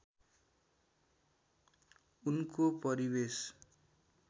उनको परिवेश